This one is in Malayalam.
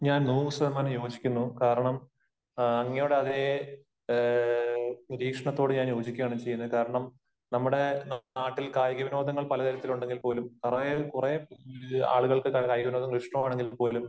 ഞാൻ നൂറു ശതമാനം യോജിക്കുന്നു. കാരണം അങ്ങയുടെ അതേ നിരീക്ഷണത്തോട് ഞാൻ യോജിക്കുകയാണ് ചെയ്യുന്നത്. കാരണം നമ്മുടെ നാട്ടിൽ കായിക വിനോദങ്ങൾ പല തരത്തിൽ ഉണ്ടെങ്കിൽ പോലും, കുറേ, കുറെ ആളുകൾക്ക് കായിക വിനോദങ്ങൾ ഇഷ്ടമാണെങ്കിൽ പോലും